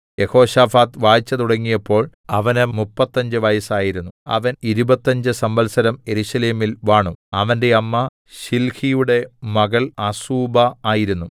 യെഹോശാഫാത്ത് വാഴ്ച തുടങ്ങിയപ്പോൾ അവന് മുപ്പത്തഞ്ച് വയസ്സായിരുന്നു അവൻ ഇരുപത്തഞ്ച് സംവത്സരം യെരൂശലേമിൽ വാണു അവന്റെ അമ്മ ശിൽഹിയുടെ മകൾ അസൂബാ ആയിരുന്നു